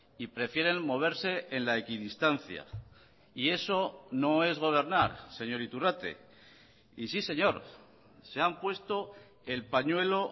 y prefieren moverse en la equidistancia y eso no es gobernar señor iturrate y sí señor se han puesto el pañuelo